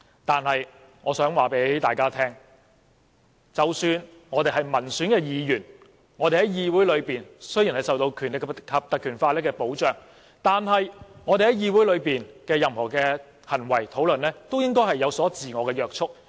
但是，我想告訴大家，即使我們是民選議員，在議會裏雖然受到《立法會條例》的保障，但我們在議會裏所有的行為和討論，也應該受到自我約束。